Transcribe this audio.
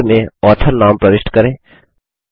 header में author नाम प्रविष्ट करें